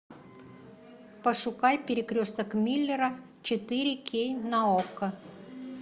пошукай перекресток миллера четыре кей на окко